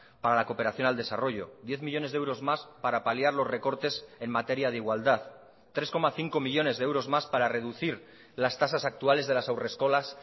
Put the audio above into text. para la cooperación al desarrollo diez millónes de euros más para paliar los recortes en materia de igualdad tres coma cinco millónes de euros más para reducir las tasas actuales de las haurreskolas